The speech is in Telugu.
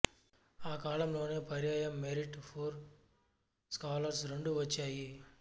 ఆ కాలంలోనే పర్యాయం మెరిట్ పూర్ స్కాలర్స్ రెండూ వచ్చాయి